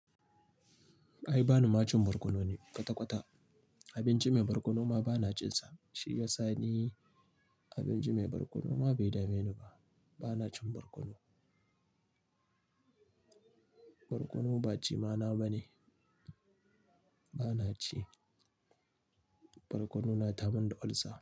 Ai ba ni ma cin barkono ne? Kata-kata abinci mai barkono ma ba na cinsa. Shi yasa ni abinci mai barkono ma bai dame ni ba. Ba na cin barkono. Barkono ba ci ma na ba ne. Ba na ci. Barkono na tayar mini da ulcer.